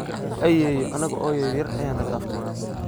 Ayeyo anaga oo yaryar aya nadaftey.